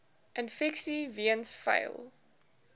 infeksies weens vuil